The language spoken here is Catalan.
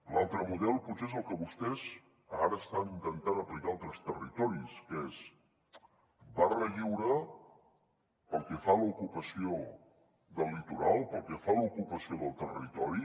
l’altre model potser és el que vostès ara estan intentant aplicar a altres territoris que és barra lliure pel que fa a l’ocupació del litoral pel que fa a l’ocupació del territori